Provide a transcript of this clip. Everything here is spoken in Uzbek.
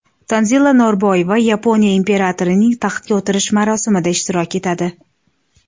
Tanzila Norboyeva Yaponiya imperatorining taxtga o‘tirish marosimida ishtirok etadi.